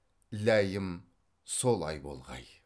ләйім солай болғай